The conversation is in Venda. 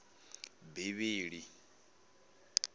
bivhili